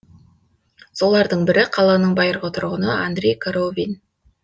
солардың бірі қаланың байырғы тұрғыны андрей коровин